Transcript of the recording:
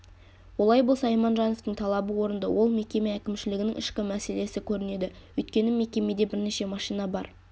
олай болса иманжановтың талабы орынды ол мекеме әкімшілігінің ішкі мәселесі көрінеді өйткені мекемеде бірнеше машина бар